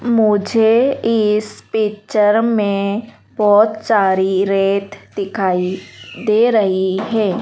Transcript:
मुझे इस पिक्चर में बहोत सारी रेत दिखाई दे रही है।